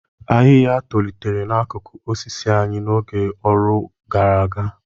Ahịhịa tolitere n'akụkụ osisi anyị n'oge ọrụ ugbo gara aga.